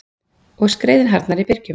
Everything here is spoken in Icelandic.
Og skreiðin harðnar í byrgjum.